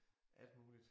Alt muligt